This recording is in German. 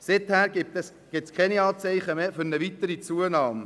Seither gibt es keine Anzeichen mehr für eine weitere Zunahme.